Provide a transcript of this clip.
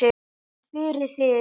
En fyrir þig?